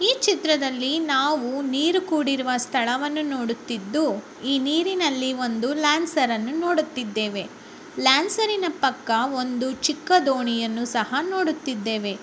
ಈ ಚಿತ್ರದಲ್ಲಿ ನಾವು ನೀರು ಕೂಡಿರುವ ಸ್ಥಳವನ್ನು ನೋಡುತ್ತಿದ್ದು. ಈ ನೀರಿನಲ್ಲಿ ಒಂದು ಲ್ಯಾನ್ಸರ್ ಅನ್ನು ನೋಡುತ್ತಿದ್ದೇವೆ. ಲ್ಯಾನ್ಸೆರಿನ ಪಕ್ಕ ಒಂದು ಚಿಕ್ಕ ದೋಣಿಯನ್ನು ಸಹ ನೋಡುತ್ತಿದ್ದೇವೆ.